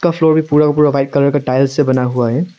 Show पूरा का पूरा वाइट कलर का टाइल्स से बना हुआ है।